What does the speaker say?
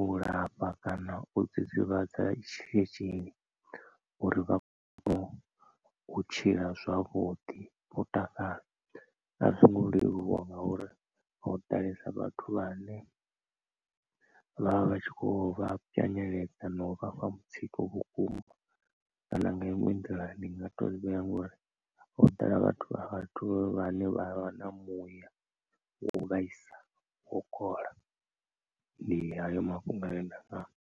u lafha kana u dzidzivhadza tshi tshi uri vha kone u tshila zwavhuḓi vho takala. A zwo ngo leluwa nga uri ho ḓalesa vhathu vhane vhavha vhatshi kho vha pwanyeledza na u vha fha mutsiko vhukuma kana nga iṅwe nḓila ndi nga to vhea ngori ho ḓala vhathu vhathu vha ne vha vha na muya wa u vhaisa wo kola ndi hayo mafhungo ane nda nga amba.